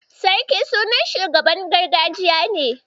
Sarki sunan shugaban gargajiya ne.